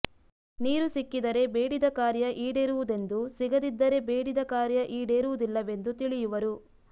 ನೀರು ಸಿಕ್ಕಿದರೆ ಬೇಡಿದ ಕಾರ್ಯ ಇಡೇರುವುದೆಂದು ಸಿಗದಿದ್ದರೆ ಬೇಡಿದ ಕಾರ್ಯ ಇಡೇರುವುದಿಲ್ಲವೆಂದು ತಿಳಿಯುವರು